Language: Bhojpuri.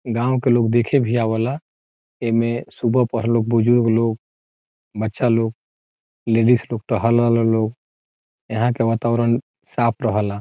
गाँव के लोग देखे भी आवेला एमे सुबह पहर बुजुर्ग लोग बच्चा लोग लेडीज लोग टहल लोग यहाँ के वातावरण साफ़ रहला।